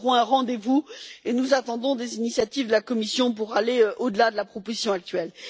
Nous aurons un rendez vous et nous attendons des initiatives de la Commission pour aller au delà de la proposition actuelle.